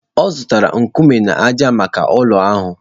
Ọ zụtara nkume na ájá maka ụlọ ahụ